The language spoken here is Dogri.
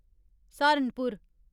सहारनपुर